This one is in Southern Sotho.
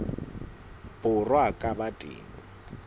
borwa a ka ba teng